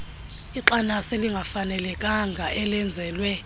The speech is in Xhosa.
ixanasi elingafanelekanga elenzelwe